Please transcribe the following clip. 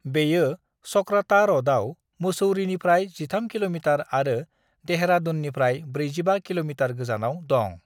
बेयो चकराता र'डआव मुसौरीनिफ्राय 13 किल'मिटार आरो देहरादूननिफ्राय 45 किल'मिटार गोजानाव दं।